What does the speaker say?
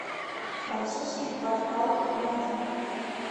французский квартал рядом